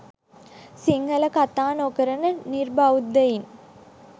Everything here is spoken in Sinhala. සිංහල කථා නොකරන නිර්බෞද්ධයින්